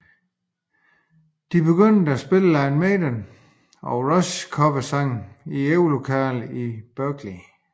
De begyndte at spille Iron Maiden og Rush coversange i øvelokalerne i Berklee